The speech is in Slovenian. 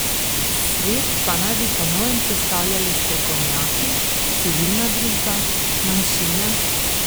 Svet pa naj bi po novem sestavljali strokovnjaki, civilna družba, manjšine ...